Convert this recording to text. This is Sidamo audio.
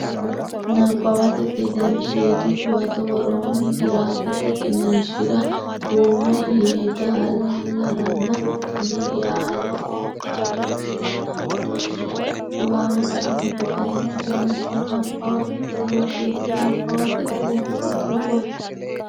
Nabbawate Gedensiidi Huwato Woroonni giraafete qiniishshira duume yeedaalaranna Niyaalaho xaadooshshenna badooshshe niwaawete amado garinni wonshe Nabbawate Gedensiidi Nabbawate Gedensiidi Huwato.